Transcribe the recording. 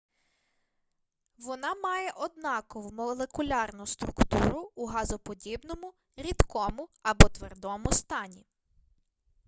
вона має однакову молекулярну структуру у газоподібному рідкому або твердому стані